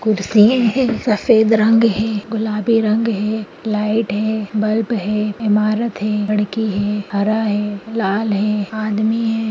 कुर्सियें है सफ़ेद रंग है गुलाबी रंग है लाइट है बल्ब है ईमारत है लड़के हैं हरा है लाल है आदमी है।